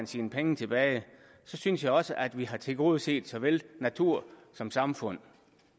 sine penge tilbage så synes jeg også at vi har tilgodeset såvel natur som samfund